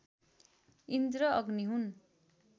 इन्द्र अग्नि हुन्